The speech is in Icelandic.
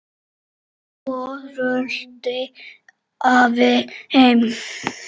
Svo rölti afi heim.